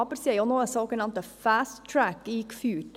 Sie haben aber noch einen sogenannten «fast track» eingeführt.